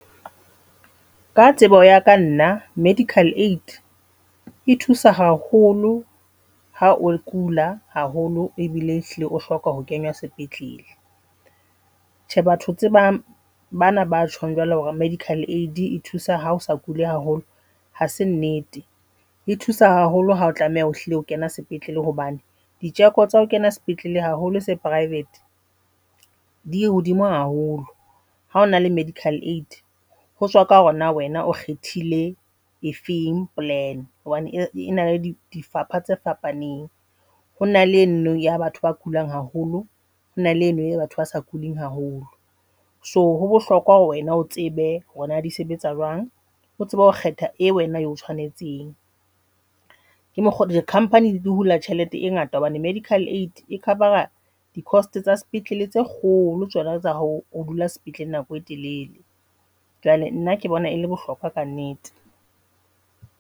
Ka tsebo ya ka nna medical aid e thusa haholo ha o kula haholo ebile e hlile o hloka ho kenywa sepetlele. Tjhe, batho tse bang bana batjhong jwalo hore medical aid e thusa hao sa kule haholo hase nnete e thusa haholo. Hao tlameha ho hlile ho kena sepetlele hobane diteko tsa ho kena sepetlele haholo se private di hodimo haholo ha ona le medical aid ho tswa ka hore na wena o kgethile e feng plan hobane ena le difapha tse fapaneng hona le eno ya batho ba kulang haholo. Hona le eno e batho ba sa kuleng haholo. So ho bohlokwa hore wena o tsebe hore na die sebetsa jwang, o tsebe ho kgetha e wena eo tshoanetseng. Ke mokgo di-Company di hula tjhelete e ngata hobane medical all aid e cover A di-cost tsa sepetlele tse kgolo. Tsona tsa hao. O dula sepetlele nako e telele, jwale nna ke bona e le bohlokwa ka nnete.